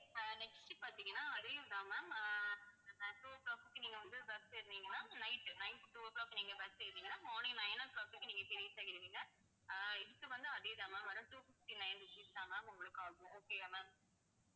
அஹ் next பார்த்தீங்கன்னா அதையும்தான் ma'am அஹ் two o'clock க்கு நீங்க வந்து bus ஏறுனீங்கன்னா night, night two o'clock நீங்க bus ஏறுனீங்கன்னா morning nine o'clock க்கு நீங்க reach ஆயிடுவீங்க அஹ் இதுக்கு வந்து, அதேதான் ma'am two fifty-nine rupees தான் ma'am உங்களுக்கு ஆகும். okay yeah ma'am